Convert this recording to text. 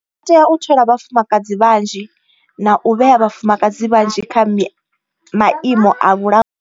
Vha tea u thola vhafumakadzi vhanzhi na u vhea vhafumakadzi vhanzhi kha maimo a vhula.